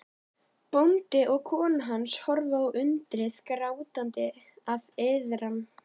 Bóndi og kona hans horfa á undrið, grátandi af iðran.